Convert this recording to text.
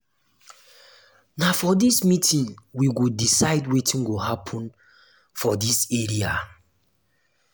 na for dis meeting we go decide wetin go happen for dis area.